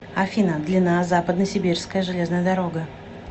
афина длина западносибирская железная дорога